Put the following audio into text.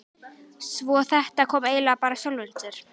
Svo þetta kom eiginlega bara af sjálfu sér.